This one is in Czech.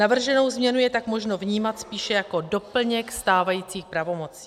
Navrženou změnu je tak možno vnímat spíše jako doplněk stávajících pravomocí.